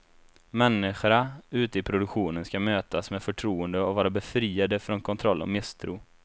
Människorna ute i produktionen skall mötas med förtroende och vara befriade från kontroll och misstro.